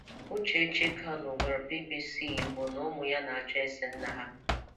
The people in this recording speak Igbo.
Uchechi Kanụ gwara BBC Igbo na ụmụ́ ya na-ajụ́ èsè nna ha.